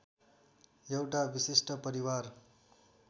एउटा विशिष्ट परिवार